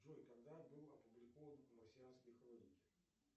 джой когда был опубликован марсианские хроники